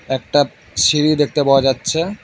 একটা সিঁড়ি দেখতে পাওয়া যাচ্ছে।